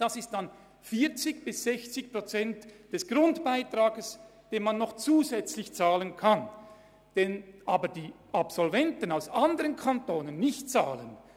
Es geht um 40 bis 65 Prozent des Grundbeitrages, den man zusätzlich bezahlen kann, den aber die anderen Kantone nicht bezahlen.